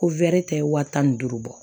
Ko tɛ wa tan ni duuru bɔ